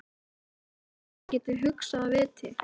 Heldurðu að soðinn heili geti hugsað af viti?